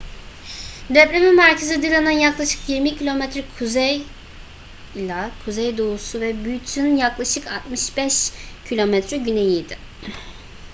depremin merkezi dillon'ın yaklaşık 20 km kuzey-kuzeydoğusu ve butte'nin yaklaşık 65 km güneyiydi